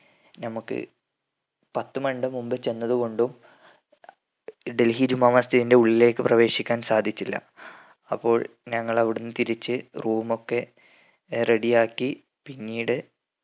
നമ്മക്ക് പത്ത് മൺടെ മുമ്പ് ചെന്നത് കൊണ്ടും ഡൽഹി ജമാ മസ്ജിദിന്റെ ഉള്ളിലേക്ക് പ്രവേശിക്കാൻ സാധിച്ചില്ല അപ്പോൾ ഞങ്ങൾ അവിടിന്ന് തിരിച് room ഒക്കെ ഏർ ready ആക്കി പിന്നീട്